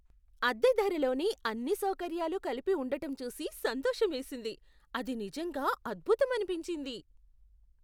అద్దె ధరలోనే అన్ని సౌకర్యాలు కలిపి ఉండటం చూసి సంతోషమేసింది. అది నిజంగా అద్భుతమనిపించింది!